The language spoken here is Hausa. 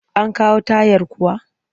An kawo tayar kuwa?